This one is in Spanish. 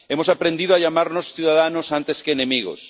Hemos aprendido a llamarnos ciudadanos antes que enemigos